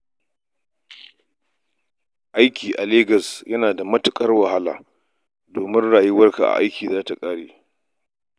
Aiki a Legas yana da matuƙar wahala, domin kuwa rayuwarka a aiki za ta ƙare.